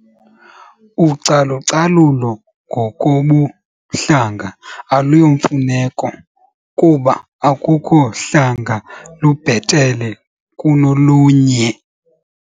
Ucalucalulo ngokobuhlanga aluyomfuneko kuba akukho hlanga lubhetele kunolunye.